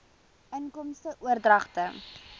inkomste oordragte